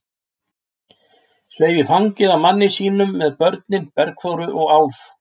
Sveif í fangið á manni sínum með börnin, Bergþóru og Álf.